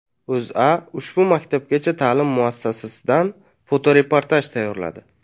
O‘zA ushbu maktabgacha ta’lim muassasasidan fotoreportaj tayyorladi .